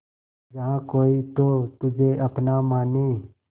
जहा कोई तो तुझे अपना माने